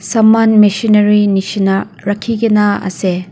saman michinari nisna rakhi kina ase.